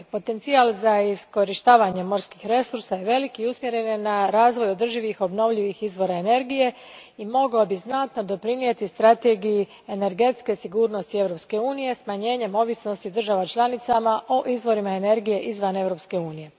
Potencijal za iskorištavanje morskih resursa je velik i usmjeren je na razvoj održivih obnovljivih izvora energije i mogao bi znatno doprinijeti strategiji energetske sigurnosti Europske unije smanjenjem ovisnosti država članica o izvorima energije izvan Europske unije.